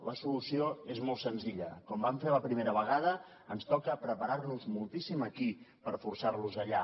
la solució és molt senzilla com vam fer la primera vegada ens toca preparar nos moltíssim aquí per forçar los allà